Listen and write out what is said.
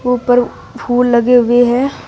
ऊपर फूल लगे हुए हैं।